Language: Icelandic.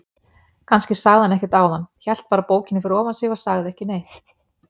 Kannski sagði hann ekkert áðan, hélt bara bókinni fyrir ofan sig og sagði ekki neitt.